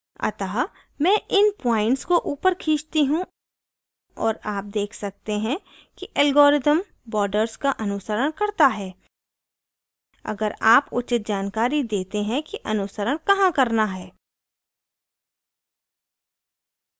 अतः मैं इन points को ऊपर खींचती हूँ और आप देख सकते हैं कि algorithm border का अनुसरण करता है अगर आप उचित जानकारी देते हैं कि अनुसरण कहाँ करना है